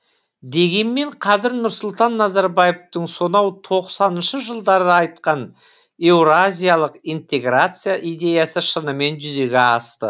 дегенмен қазір нұрсұлтан назарбаевтың сонау тоқсаныншы жылдары айтқан еуразиялық интеграция идеясы шынымен жүзеге асты